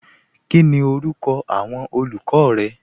Kíni orúkọ awọn olùkọ rẹ?